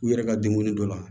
U yɛrɛ ka denkundi dɔ la